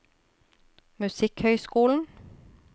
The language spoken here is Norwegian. musikkhøyskolen